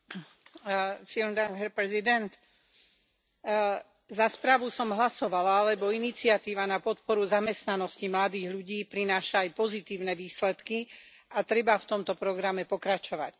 Vážený pán predsedajúci, za správu som hlasovala, lebo iniciatíva na podporu zamestnanosti mladých ľudí prináša aj pozitívne výsledky a treba v tomto programe pokračovať.